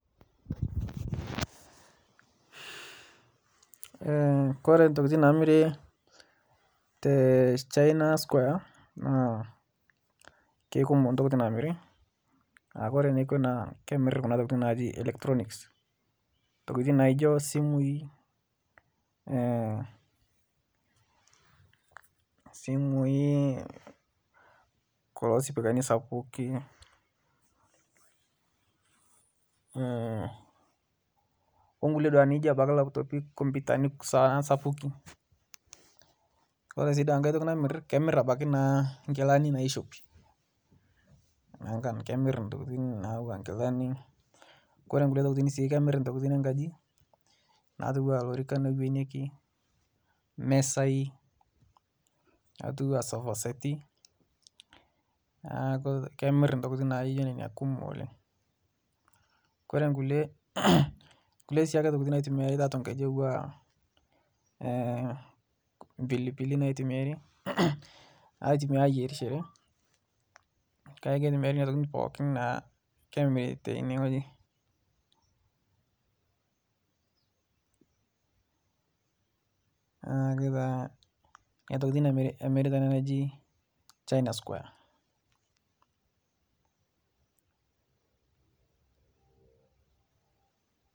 kore ntokitin namiri te china squire naa keikumoo ntokitii namiri kore nekwe naa kemiri kuna tokitii najii electronics ntokitin naijo simui, simui kulo sipikani sapukii onkulie nijo abaki laptopii kompitani sapuki kore sii tankai toki namir kemir abaki naa nkilani naishopi nankan kemir ntokitin natuwaa nkilani kore nkulie tokitin sii kemir ntokitin ee nkaji natuwaa lorikan ewenieki mezai natuwaa sofasetii naaku kemir ntokitin naayie kumok oleng. kore nkulie , nkulie tokitii siake naitumiari taatua nkaji atuwaa mpilipilii naitumiari aitumia ayerishere kajo keitumiari nenia tokitii pooki naa kemirii teinie nghoji naaku taa nenia tokitii emiri teinia najii china squire.